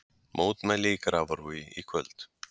Mótmæli í Grafarvogi í kvöld